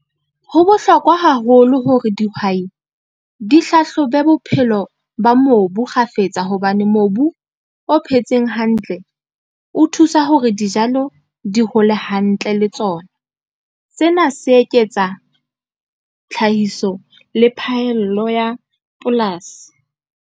Ho bohlokwa haholo hore dihwai, di hlahlobe bophelo ba mobu kgafetsa hobane mobu o phetseng hantle, o thusa hore dijalo di hole hantle le tsona. Sena se eketsa tlhahiso le phahello ya polasi.